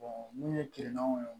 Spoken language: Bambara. mun ye kiliyanw ye